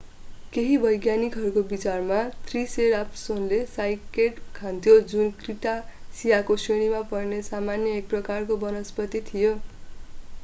केहि वैज्ञानिकहरू विचारमा त्रिसेराटोप्सले साइकेड खान्थ्यो जुन क्रिटासियाको श्रेणीमा पर्ने सामान्य एक प्रकारको वनस्पति थियो